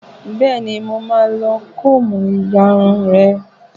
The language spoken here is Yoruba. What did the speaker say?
Bẹ́ẹ̀ni, mo máa lo kóòmù ya irun rẹ